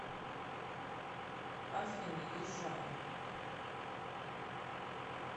афина езжай